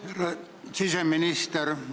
Härra siseminister!